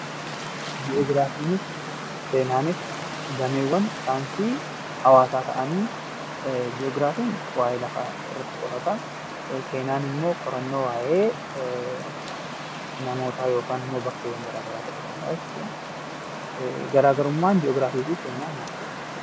Ji'ogiraafiinis seenaanis dameewwan saayinsii hawaasaa ta'anii, Ji'ogiraafiin waa'ee lafaa irratti qorataa, seenaan immoo qorannoo waa'ee namootaa yookaan immoo bakkeewwan garaa garaa ta'uu danda'a jechuudha. Garaagarummaan Ji'ogiraafii fi Seenaa maalidha?